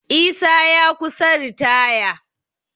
Isa ya kusa ritaya